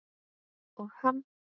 Og hann?